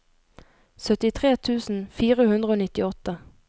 syttitre tusen fire hundre og nittiåtte